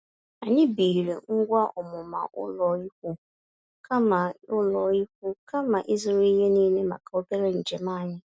Anyị biiri ngwa ọmụma ụlọikwuu, kama ụlọikwuu, kama ịzụrụ ihe niile maka obere njem anyị.